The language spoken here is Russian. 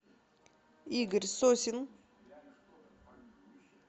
игорь сосин